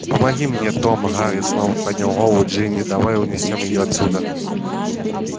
помоги мне том гарри снова поднял голову джинни давай унесём её отсюда